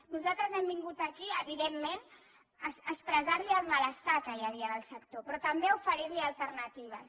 nosaltres hem vingut aquí evidentment a expressar li el malestar que hi havia del sector però també a oferir li alternatives